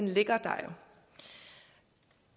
ligger der